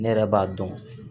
Ne yɛrɛ b'a dɔn